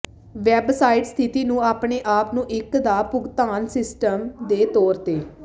website ਸਥਿਤੀ ਨੂੰ ਆਪਣੇ ਆਪ ਨੂੰ ਇੱਕ ਦਾ ਭੁਗਤਾਨ ਸਿਸਟਮ ਦੇ ਤੌਰ ਤੇ